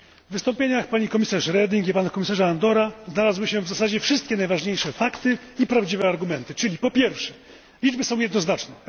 W wystąpieniach pani komisarz Reding i pana komisarza Andora znalazły się w zasadzie wszystkie najważniejsze fakty i prawdziwe argumenty, czyli po pierwsze liczby są jednoznaczne.